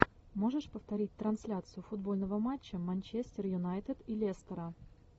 можешь повторить трансляцию футбольного матча манчестер юнайтед и лестера